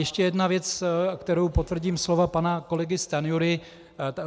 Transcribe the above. Ještě jedna věc, kterou potvrdím slova pana kolegy Stanjury.